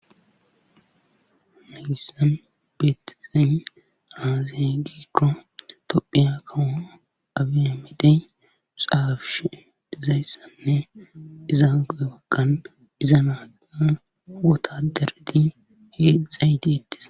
Hayssan beetizay aaze giiko tophiya kawo aabi aymede xaafishe dizayssanne iza bagan iza nagiza wotadarati heedzdzay deetees.